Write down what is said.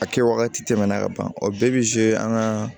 A kɛ wagati tɛmɛna ka ban o bɛɛ bɛ an ka